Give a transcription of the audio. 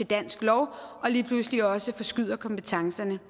dansk lov og lige pludselig også forskyder kompetencerne